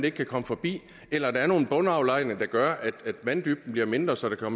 ikke kan komme forbi eller at der er nogle bundaflejringer der gør at vanddybden bliver mindre så der